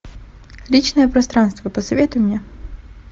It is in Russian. личное пространство посоветуй мне